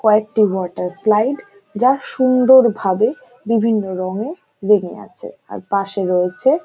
কয়েকটি water slide যা সুন্দর ভাবে বিভিন্ন রঙ্গে রেঙ্গে আছে। আর পাশে রয়েছে--